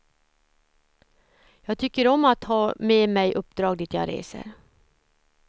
Jag tycker om att ha med mig uppdrag dit jag reser.